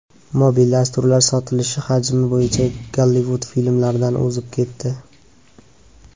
Mobil dasturlar sotilishi hajmi bo‘yicha Gollivud filmlaridan o‘zib ketdi.